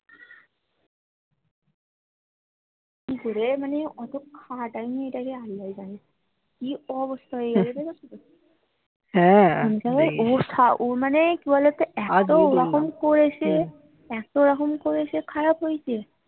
কি করে মানে অতো খাটায় মেয়ে টাকে আল্লাহই জানে কি অবস্থা হয়ে গেছে দেখছো তো ও মানে কি বলোতো এতো ওরকম করেছে এতো রকম করে যে খারাপ হয়েছে